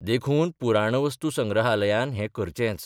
देखून पुराणवस्तुसंग्रहालयान हें करचेंच.